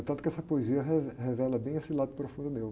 É tanto que essa poesia rev, revela bem esse lado profundo meu.